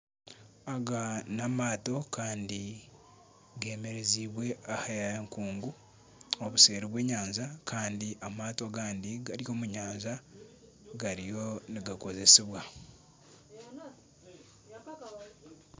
Aga n'amaato kandi geemerezibwe aha nkungu obuseeri bw'enyanja kandi amaato agandi gari omu nyanja gariyo nigakoresibwa